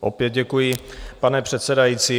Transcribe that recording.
Opět děkuji, pane předsedající.